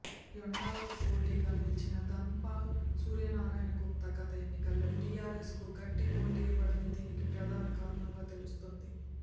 యెండలకు పోటీగా నిలిచిన దన్పాల్ సూర్యనారాయణ గుప్తా గత ఎన్నికల్లో టిఆర్ఎస్కు గట్టి పోటీనివ్వడమే దీనికి ప్రధాన కారణంగా తెలుస్తోంది